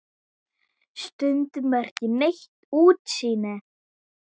Stundum er ekki neitt útsýni!